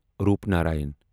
Roopnarayan